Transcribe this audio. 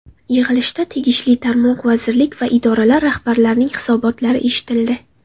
Yig‘ilishda tegishli tarmoq, vazirlik va idoralar rahbarlarining hisobotlari eshitildi.